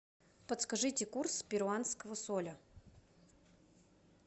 подскажите курс перуанского соля